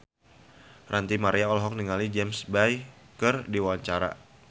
Ranty Maria olohok ningali James Bay keur diwawancara